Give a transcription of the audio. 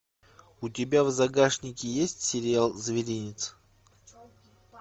у тебя в загашнике есть сериал зверинец